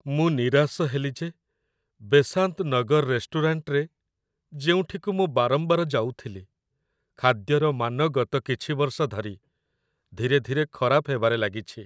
ମୁଁ ନିରାଶ ହେଲି ଯେ ବେସାନ୍ତ ନଗର ରେଷ୍ଟୁରାଣ୍ଟରେ, ଯେଉଁଠିକୁ ମୁଁ ବାରମ୍ବାର ଯାଉଥିଲି, ଖାଦ୍ୟର ମାନ ଗତ କିଛି ବର୍ଷ ଧରି ଧୀରେ ଧୀରେ ଖରାପ ହେବାରେ ଲାଗିଛି